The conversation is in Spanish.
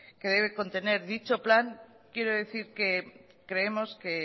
que debe contener dicho plan quiero decir que creemos que